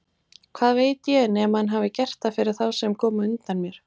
Hvað veit ég, nema hann hafi gert það fyrir þá sem komu á undan mér!